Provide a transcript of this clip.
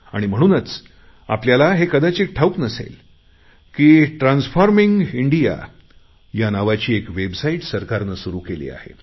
आणि म्हणूनच आपल्याला हे कदाचित ठावूक असेल की ट्रान्सफॉर्मिंग इंडिया या नावाची वेबसाईट सरकारने सुरु केली आहे